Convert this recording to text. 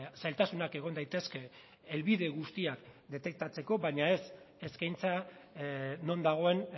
zailtasunak egon daitezke helbide guztiak detektatzeko baina ez eskaintza non dagoen